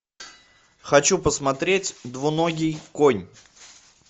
хочу посмотреть двуногий конь